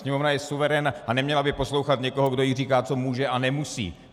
Sněmovna je suverén a neměla by poslouchat někoho, kdo jí říká, co může a nemusí.